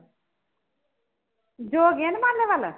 ਜੋ ਗਿਣ ਮਾਲੇ ਵਾਲਾ ਹੈ